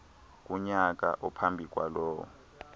kunyaka ophambi kwalowo